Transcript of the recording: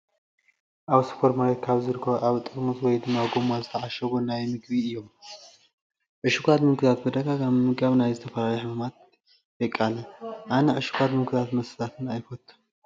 ኣብ ስፖርማርኬት ካብ ዝርከቡ ኣብ ጥርሙዝ ወይ ድማ ጎማ ዝተዓሸጉ ናይ ምግቢ እዩም ። ዕሽጋት ምግብታት ብተደጋጋሚ ምምጋብ ናብ ዝተፈላለዩ ሕማማት የቀልዕ። ኣነ ዕሽጋት ምግብታት መስተታትን ኣይፈቱን።